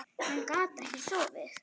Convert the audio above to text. Hann gat ekki sofið.